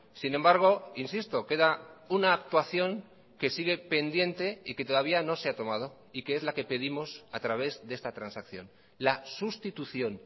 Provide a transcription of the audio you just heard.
sin embargo insisto queda una actuación que sigue pendiente y que todavía no se ha tomado y que es la que pedimos a través de esta transacción la sustitución